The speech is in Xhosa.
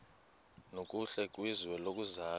nokuhle kwizwe lokuzalwa